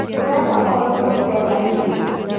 Ũreka ũria ndireka nĩkĩ?